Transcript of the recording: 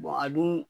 a dun